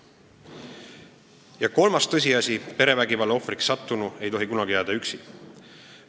Ja kolmas tõsiasi, perevägivalla ohvriks sattunu ei tohi kunagi jääda üksi.